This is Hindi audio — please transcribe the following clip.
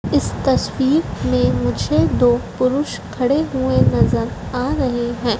इस तस्वीर में मुझे दो पुरुष खड़े हुए नजर आ रहे हैं।